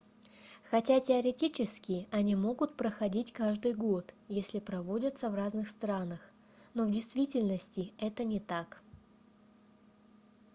хотя теоретически они могут проходить каждый год если проводятся в разных странах но в действительности это не так